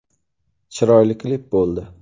Chiroyli klip bo‘ldi.